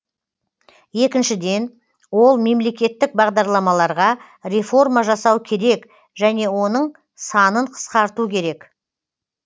екіншіден ол мемлекеттік бағдарламаларға реформа жасау керек және оның санын қысқарту керек